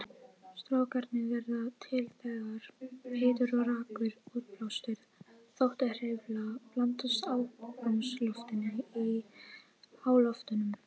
Strókarnir verða til þegar heitur og rakur útblástur þotuhreyfla blandast andrúmsloftinu í háloftunum.